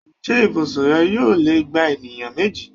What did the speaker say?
Ṣé ibùsùn rẹ yóò lè gba ènìyàn méjì?